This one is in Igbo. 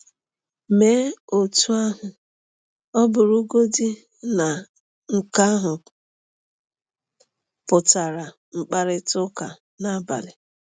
Mee otú ahụ ọ bụrụgodị na nke ahụ pụtara mkparịta ụka n’abalị.